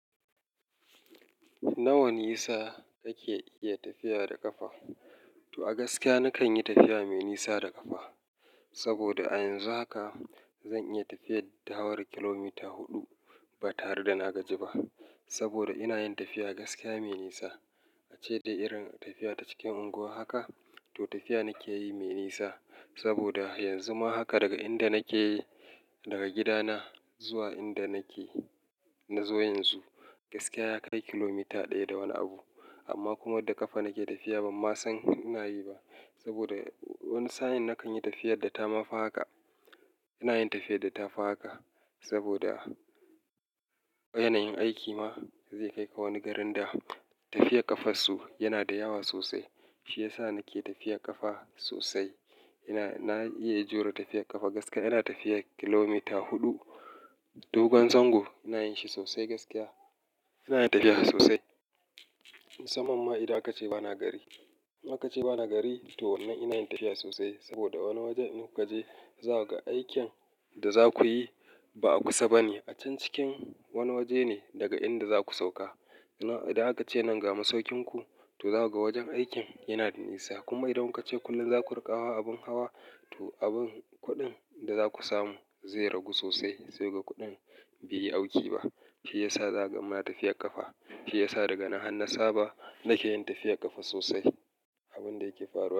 Nawa nisa kake iya tafiya da ƙafa? To a gaskiya nakan yi tafiya mai nisa da ƙafa. Saboda a yanzu haka zan iya tafiyar da hawar kilomita huɗu ba tare da na gaji ba. Saboda ina yin tafiya gaskiya mai nisa. Ace da irin tafiya ta cikin unguwa haka, to tafiya nake yi mai nisa. Saboda yanzu ma haka daga inda nake, daga gidana zuwa inda nake, na zo yanzu, gaskiya ya kai kilomita ɗaya da wani abu. Amma kuma da ƙafa nake tafiya ban ma san ina yi ba. Saboda wani sa'in nakan yi tafiyar da ta ma fi haka. Ina yin tafiyar da ta fi haka. Saboda yanayin aiki ma zai kai ka wani garin da tafiyar ƙafansu yana da yawa sosai. Shi ya sa nake tafiyar ƙafa sosai. Ina, na iya jure tafiyar ƙafa gaskiya. Ina tafiyar kilomita huɗu. Dogon zango ina yin shi sosai gaskiya. Ina yin tafiya sosai. Musamman ma idan aka ce bana gari. Idan aka ce bana gari to wannan ina yin tafiya sosai. Saboda wani waje in kuka je za su ga aikin da za ku yi ba a kusa bane. A can cikin wani waje ne daga inda za ku sauka. Idan aka ce nan ga masaukin ku, to za su ga wajen aikin yana da nisa. Kuma idan kace kullum za ku riƙawa abin hawa, to abin kuɗin da za ku samu zai ragu sosai sai ga kuɗin bai yi auki ba. Shi ya sa za ka mana tafiyar ƙafa. Shi ya sa daga na hannu saba, nake yin tafiyar ƙafa sosai. Abin da yake faruwa.